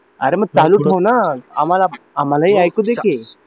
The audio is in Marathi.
अरे मग चालू ठेव ना आम्हालाही ऐकूदे कि